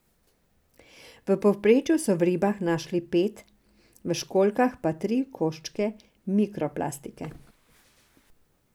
V povprečju so v ribah našli pet, v školjkah pa tri koščke mikroplastike.